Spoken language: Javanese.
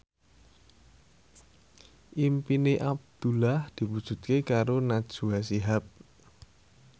impine Abdullah diwujudke karo Najwa Shihab